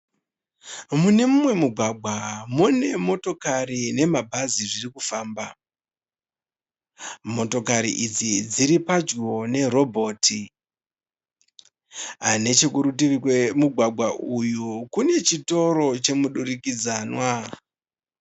Mune mumwe mugwagwa mune motokari nema bhazi zviri kufamba. Motokari idzi dziri padyo nerobhoti. Nechekuritivi kwemugwagwa uyu kune chitoro chemudurikidzanwa.